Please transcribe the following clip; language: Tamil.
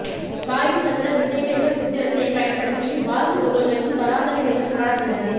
வாயுச் சதுர திசைவேக சூத்திரத்தைப் பயன்படுத்தி வாயு துகள்களின் சராசரி வேகம் காணப்படுகிறது